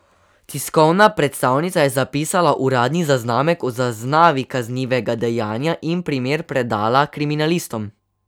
Tiskovna predstavnica je zapisala uradni zaznamek o zaznavi kaznivega dejanja in primer predala kriminalistom.